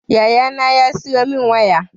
Yaya na ya siya mun waya